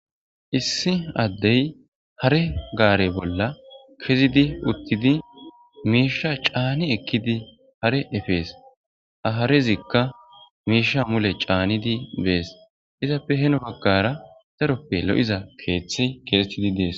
Issi addey hare gaare bolla kezidi uttidi miisha caani ekkidi hare efees aharezikka miisha mule caanidi bees izappe heno baggara daroppe lo7iza keeththi keesetidi dees.